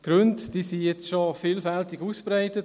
Die Gründe wurden jetzt schon vielfältig ausgebreitet.